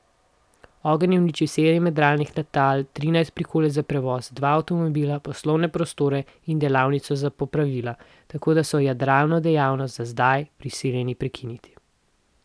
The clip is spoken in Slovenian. Ogenj je uničil sedem jadralnih letal, trinajst prikolic za prevoz, dva avtomobila, poslovne prostore in delavnico za popravila, tako da so jadralno dejavnost za zdaj prisiljeni prekiniti.